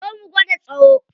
Zo mu gwada tsayo.